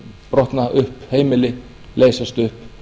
brotna upp heimili leysast upp